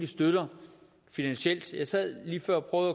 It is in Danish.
støtter finansielt jeg sad lige før og